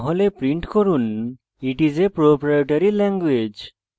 অন্যথায় print করুন it s a proprietary language